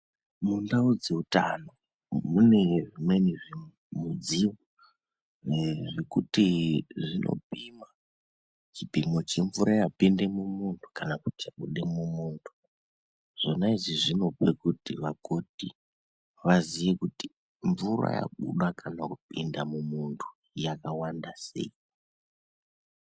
Mundau dzeutano mune zvimweni zvinu mudziyo ee zvekuti zvinopimwa chipimo chemvura yapinda mumunhu kanakuti yabuda mumundu zvona izvi zvinopa kuti vakoti vaziye kuti mvura yabuda kana yapinda mumundu yakawanda sei.